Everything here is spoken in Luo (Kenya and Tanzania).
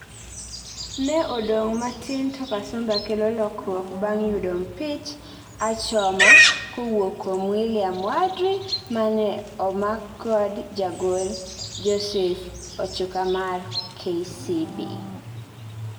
ne odong matin to Kasumba kelo lokruok bang yudo mpich achoma kowuok kuom William Wadri mane omakkod jagol Joseph Ochukamar KCB.